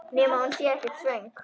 Nema hún sé ekkert svöng.